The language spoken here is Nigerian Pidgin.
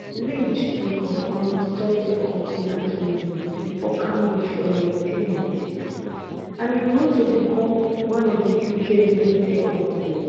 lynch bin cofound software company autonomy for cambridge for 1996 and e grow to become one of di uk leading tech companies